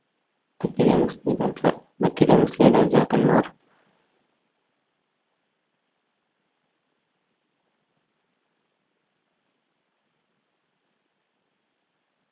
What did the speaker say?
ഡക്കിലെ മുസ്ലിം രാജാ ഡക്കിലെ മുസ്ലിം രാജാക്കന്മാർ